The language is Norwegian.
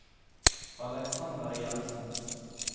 Aleksander Jenssen